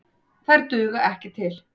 Þær duga ekki til.